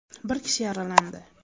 Bir kishi yaralandi.